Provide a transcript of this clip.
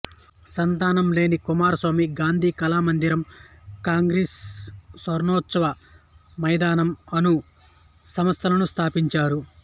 సంతానం లేని కుమారస్వామి గాంధీ కళామందిరం కాంగ్రెస్ స్వర్ణోత్సవ మైదానం అను సంస్థలను స్థాపించారు